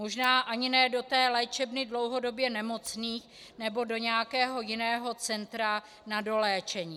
Možná ani ne do té léčebny dlouhodobě nemocných nebo do nějakého jiného centra na doléčení.